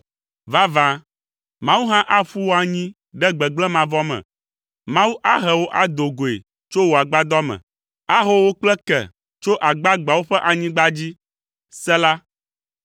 Vavã, Mawu hã aƒu wò anyi ɖe gbegblẽ mavɔ me. Mawu ahe wò ado goe tso wò agbadɔ me, aho wò kple ke tso agbagbeawo ƒe anyigba dzi. Sela